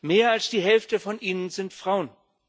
Mehr als die Hälfte von ihnen sind Frauen.